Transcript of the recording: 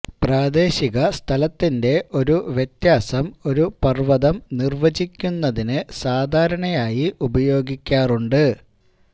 പ്രാദേശിക സ്ഥലത്തിന്റെ ഒരു വ്യത്യാസം ഒരു പർവ്വതം നിർവചിക്കുന്നതിന് സാധാരണയായി ഉപയോഗിക്കാറുണ്ട്